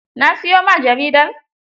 Na siyo ma jaridar?